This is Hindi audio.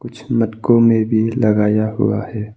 कुछ मटकों में भी लगाया हुआ है।